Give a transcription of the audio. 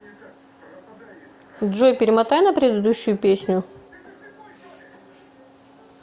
джой перемотай на прерыдущую песню